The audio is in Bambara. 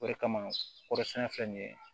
O de kama kɔrɔsɛnɛ filɛ nin ye